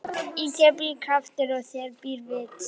Í þér býr kraftur og í þér býr vit.